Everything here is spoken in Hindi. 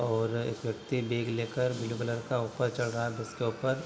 और एक व्यक्ति बैग लेकर ब्लू कलर का ऊपर चढ़ रहा है बस के ऊपर।